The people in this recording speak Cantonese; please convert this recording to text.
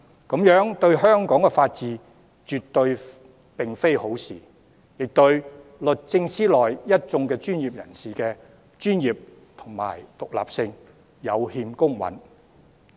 這樣對香港法治並非好事，亦對律政司內一眾專業人員的專業性及獨立性有欠公允。